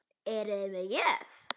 Eruði með gjöf?